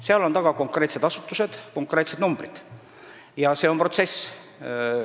Selle taga on konkreetsed asutused ja konkreetsed numbrid ning see on protsess.